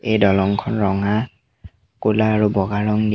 এই দলংখন ৰঙা ক'লা আৰু বগা ৰং দিয়া